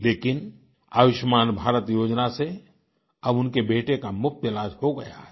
लेकिन आयुष्मान भारत योजना से अब उनके बेटे का मुफ्त इलाज हो गया है